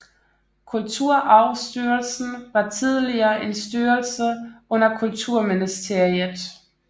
Kulturarvsstyrelsen var tidligere en styrelse under Kulturministeriet